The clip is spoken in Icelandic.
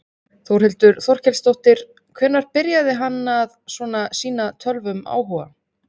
Þórhildur Þorkelsdóttir: Hvenær byrjaði hann að svona sýna tölvum áhuga?